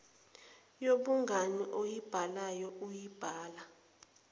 yobungani oyibhalayo uyibhala